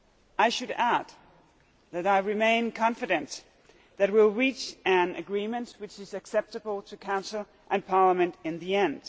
I should add that I remain confident that we will reach an agreement which is acceptable to the Council and Parliament in the end.